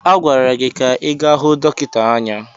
A gwara gị ka ị gaa hụ dọkịta anya!